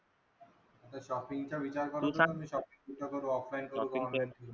Shopping चा विचार करत होतो की shopping कुठे करू offline की online.